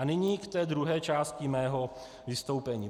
A nyní k té druhé části mého vystoupení.